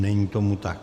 Není tomu tak.